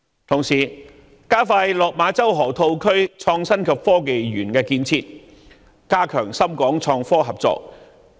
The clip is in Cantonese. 同時，我們應加快落馬洲河套區創新及科技園的建設，加強深港創科合作。